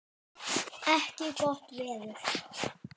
ekki gott veður.